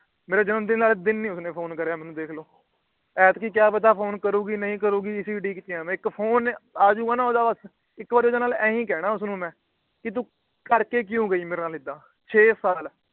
ਮੇਰੇ ਜਨਮ ਦਿਨ ਵਾਲੇ ਦਿਨ ਵੀ ਮੈਨੂੰ ਨਹੀਂ Phone ਕਰਿਆ ਤੁਸੀਂ ਦੇਖ ਲੋ। ਐਤਕੀ ਕਿਯਪਤਾ ਫੋਨ ਕਰੂਗੀ ਨਹੀਂ ਕਰੂਗੀ ਇਸੇ ਉਡੀਕ ਚ ਆ ਮੈ। ਫੋਨ ਆਜੂੰਗਾ ਨਾ ਉਹਦਾ ਬਸ। ਇੱਕ ਵਾਰ ਓਹਦੇ ਨਾਲ ਇਹੋ ਕਹਿਣਾ ਬਸ ਉਸਨੂੰ ਮੈ। ਵੀ ਤੂੰ ਕਰਕੇ ਕਿਉਂ ਗਈ ਮੇਰੇ ਨਾਲ ਏਦਾਂ। ਛੇ ਸਾਲ